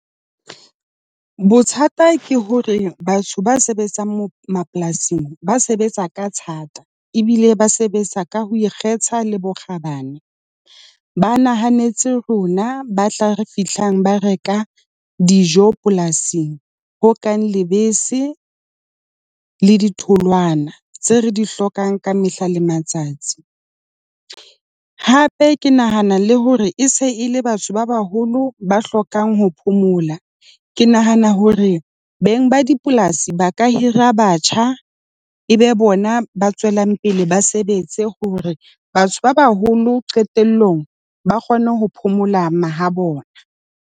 Bothata ke hore batho ba sebetsang mapolasing ba sebetsa ka thata ebile ba sebetsa ka ho ikgetha le bokgabane. Ba nahanetse rona ba tla fihlang ba reka dijo polasing, ho kang lebese, le ditholwana tse re di hlokang ka mehla le matsatsi. Hape ke nahana le hore e se e le batho ba baholo ba hlokang ho phomola. Ke nahana hore beng ba dipolasi ba ka hira batjha e be bona ba tswelang pele ba sebetse hore batho ba baholo qetelllong ba kgone ho phomola mahabona.